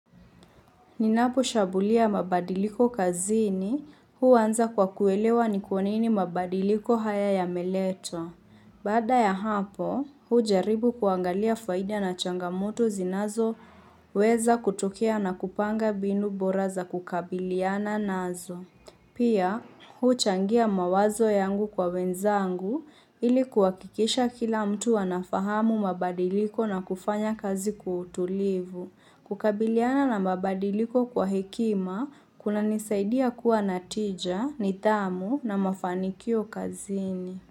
Ninaposhabulia mabadiliko kazini, hu anza kwa kuelewa ni kwa nini mabadiliko haya yameletwa. Baada ya hapo, hu jaribu kuangalia faida na changamoto zinazo weza kutokea na kupanga binu boraza kukabiliana nazo. Pia, hu changia mawazo yangu kwa wenzangu ili kuhakikisha kila mtu anafahamu mabadiliko na kufanya kazi kwa utulivu. Kukabiliana na mabadiliko kwa hekima, kunanisaidia kuwa natija, nithamu na mafanikio kazini.